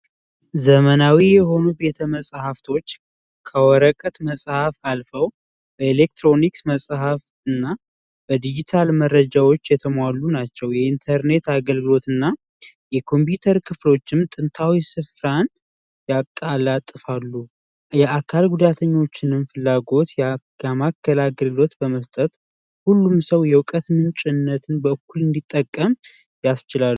ዘመናዊ የሆኑ ቤተመፃፍቶች ከወረቀት መጽሐፍ አልፎ የኤሌክትሮኒክስ መጽሐፍና በዲጂታል መረጃዎች የተሟሉ ናቸው የኢንተርኔት አገልግሎትና ኮምፒዩተር ክፍሎችም ጥንታዊ ስፍራ ያቀላጥፋሉ የአካል ጉዳተኞችንም ፍላጎት በማቅረብ አገልግሎት በመስጠት ሁሉም ሰው የእውቀት ምንጭነትን በእኩል እንዲጠቀም ያስችላሉ።